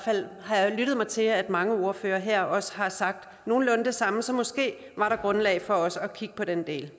har jeg lyttet mig til at mange ordførere her også har sagt nogenlunde det samme så måske var der grundlag for også at kigge på den del